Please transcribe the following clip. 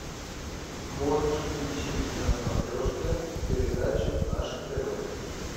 можешь включить на смотрешке передачу наше тв